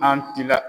N'an tilala